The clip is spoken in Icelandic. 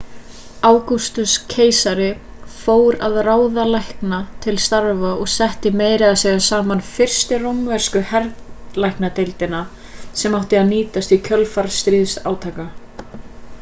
ágústus keisari fór að ráða lækna til starfa og setti meira að segja saman fyrstu rómversku herlæknadeildina sem átti að nýtast í kjölfar stríðsátaka